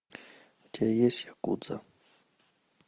у тебя есть якудза